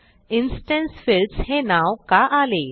instance fields हे नाव का आले